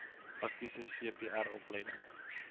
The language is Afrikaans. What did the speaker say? praktiese cpr opleiding